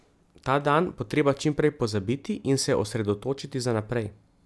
Ta dan bo treba čim prej pozabiti in se osredotočiti za naprej.